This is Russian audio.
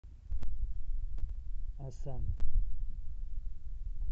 осан